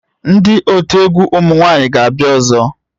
Ndị otu egwu ụmụ nwanyị ga-abịa ọzọ?